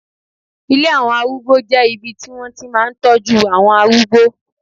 Ilé àwọn arúgbó jẹ́ ibi tí wọ́n ti máa ń tọ́jú àwọn arúgbó